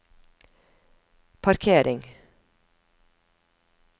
parkering